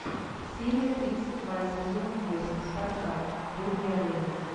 серия тридцать два сезон восемь спартак боги арены